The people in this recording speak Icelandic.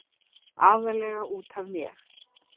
aðallega út af mér.